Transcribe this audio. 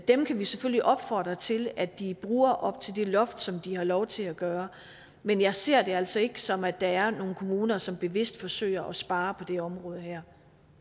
dem kan vi selvfølgelig opfordre til at de bruger op til det loft som de har lov til at gøre men jeg ser det altså ikke som at der er nogle kommuner som bevidst forsøger at spare på det område her